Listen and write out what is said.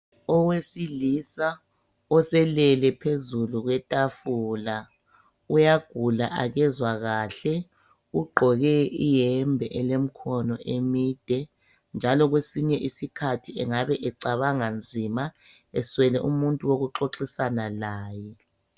Owesilisa oselele phezulu kwetafula uyagula akezwa kahle. Ugqoke iyembe elemkhono emide, njalo kwesinye isikhathi engabe ecabanga nzima, eswele umuntu wokuxoxisana laye.